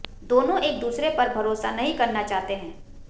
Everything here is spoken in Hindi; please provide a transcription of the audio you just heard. दोनों एक दूसरे पर भरोसा नही करना चाहते हैं